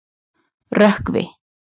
Rökkvi